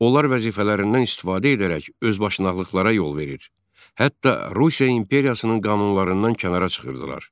Onlar vəzifələrindən istifadə edərək özbaşınalıqlara yol verir, hətta Rusiya imperiyasının qanunlarından kənara çıxırdılar.